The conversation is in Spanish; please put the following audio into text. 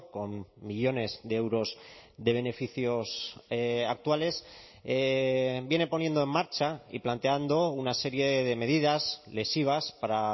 con millónes de euros de beneficios actuales viene poniendo en marcha y planteando una serie de medidas lesivas para